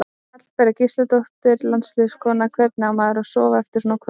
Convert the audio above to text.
Hallbera Gísladóttir landsliðskona: Hvernig á maður að sofna eftir svona kvöld?